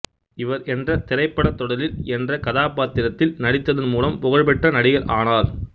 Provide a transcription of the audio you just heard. இவர் என்ற திரைப்பட தொடரில் என்ற கதாபாத்திரத்தில் நடித்ததன் மூலம் புகழ் பெற்ற நடிகர் ஆனார்